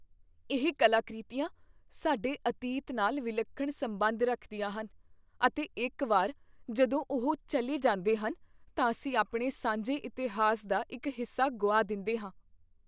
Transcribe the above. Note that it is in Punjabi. ਇਹ ਕਲਾਕ੍ਰਿਤੀਆਂ ਸਾਡੇ ਅਤੀਤ ਨਾਲ ਵਿਲੱਖਣ ਸੰਬੰਧ ਰੱਖਦੀਆਂ ਹਨ, ਅਤੇ ਇੱਕ ਵਾਰ ਜਦੋਂ ਉਹ ਚੱਲੇ ਜਾਂਦੇ ਹਨ, ਤਾਂ ਅਸੀਂ ਆਪਣੇ ਸਾਂਝੇ ਇਤਿਹਾਸ ਦਾ ਇੱਕ ਹਿੱਸਾ ਗੁਆ ਦਿੰਦੇਹਾਂ।